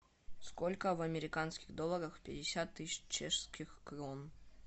сколько в американских долларах пятьдесят тысяч чешских крон